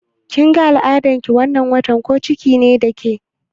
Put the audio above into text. Kin ga al'adan ki wannan watan, ko ciki ne da ke?